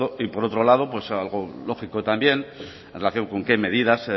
y por otro lado pues algo lógico también en relación con qué medidas